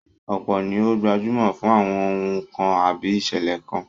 Ọ̀pọ̀ ni ó gbajúmọ̀ fún àwọn ohùn kan àbí ìṣẹ̀lẹ̀ kan